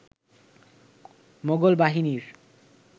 মোগল বাহিনীর